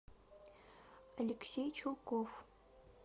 алексей чулков